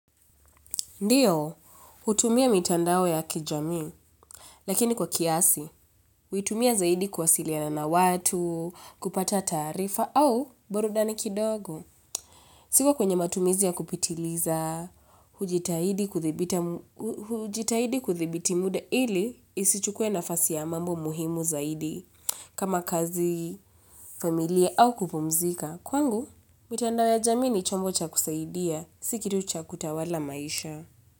Ndiyo, hutumia mitandao ya kijamii, lakini kwa kiasi, hutumia zaidi kuwasiliana na watu, kupata taarifa au burudani kidogo. Siko kwenye matumizi ya kupitiliza, hujitahidi kudhibiti muda ili isichukue nafasi ya mambo muhimu zaidi. Kama kazi, familia au kupumzika, kwangu, mitandao ya jamii ni chombo cha kusaidia, si kitu cha kutawala maisha.